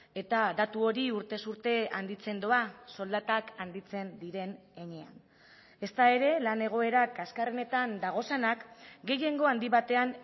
eta datu hori urtez urte handitzen doa soldatak handitzen diren heinean ezta ere lan egoera kaxkarrenetan daudenak gehiengo handi batean